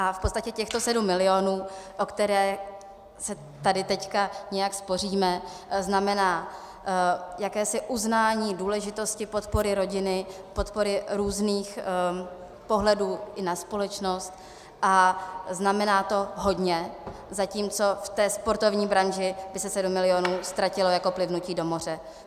A v podstatě těchto sedm milionů, o které se tady teď nějak spoříme, znamená jakési uznání důležitosti podpory rodiny, podpory různých pohledů i na společnost a znamená to hodně, zatímco v té sportovní branži by se sedm milionů ztratilo jako plivnutí do moře.